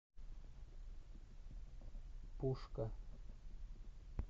пушка